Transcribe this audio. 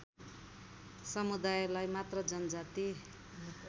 समुदायलाई मात्र जनजाति